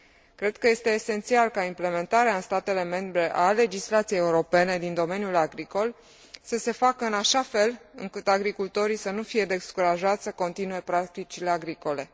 Cred că este esențial ca implementarea în statele membre a legislației europene din domeniul agricol să se facă în așa fel încât agricultorii să nu fie descurajați să continue practicile agricole.